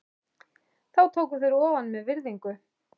Þá tóku þeir ofan með virðingu.